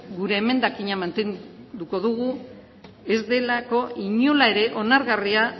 gure emendakina mantenduko dugu ez delako inola ere onargarria